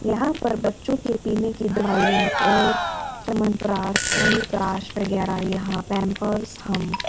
यहां पर बच्चों के पीने की दवाईयां और च्यवनप्राश हनी प्राश वगैरह यहां पैंपर्स हम--